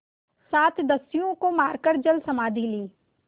सात दस्युओं को मारकर जलसमाधि ली